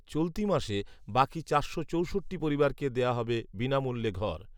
চলতি মাসে বাকি চারশো চৌষট্টি পরিবারকে দেয়া হবে বিনামূল্যে ঘর